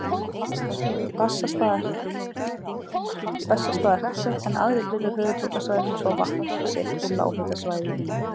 Bessastaðahreppi, en aðrir hlutar höfuðborgarsvæðisins fá vatn sitt úr lághitasvæðum í